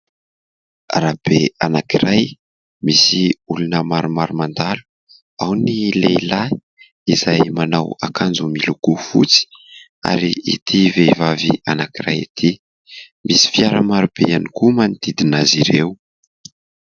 Arabe anankiray misy olona maromaro mandalo. Ao ny lehilahy izay manao akanjo miloko fotsy ary ity vehivavy anankiray ity. Misy fiara marobe ihany koa manodidina azy ireo.